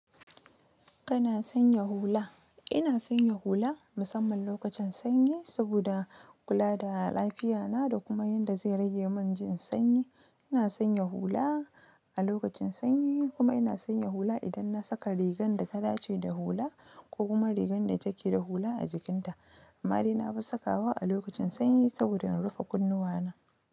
Kana sanya hula? Ina sanya hula musamman lokacin sanyi saboda kula da lafiya na da kuma yadda zai rage min jin sanyi. Ina sanya hula a lokacin sanyi kuma ina sanya hula idan na saka rigar da ta dace da hula ko kuma rigar da take da hula a jikinta. Amma dai na fi sakawa a lokacin sanyi saboda na rufe kunnuwana.